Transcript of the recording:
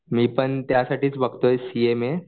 मी पण त्यासाठीच बघतोय सीएमए